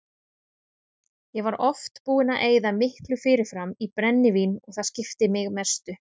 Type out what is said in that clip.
Ég var oft búinn að eyða miklu fyrirfram í brennivín og það skipti mig mestu.